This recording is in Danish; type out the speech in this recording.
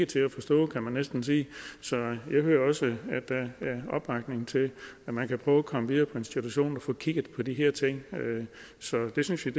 til at forstå kan man næsten sige så jeg hører også at der er opbakning til at man kan prøve komme videre institutionerne og få kigget på de her ting så det synes vi